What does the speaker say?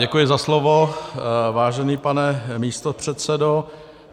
Děkuji za slovo, vážený pane místopředsedo.